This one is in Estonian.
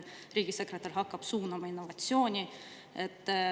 Riigisekretär hakkab suunama innovatsiooni.